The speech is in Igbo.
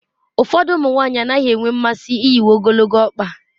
Ụfọdụ ụmụ nwanyị anaghị enwe mmasị iyi uwe ogologo ọkpa